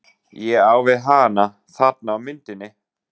Ég á við hana- þarna á myndinni.